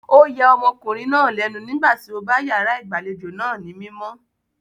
O ya ọmọkùnrin náà lénu nígbà tí ó bá yàrá ìgbàlejò náà ní mímọ́.